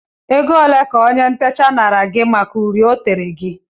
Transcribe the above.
Oge ole ka ónyé ntecha naara gị màkà uri o tere gị?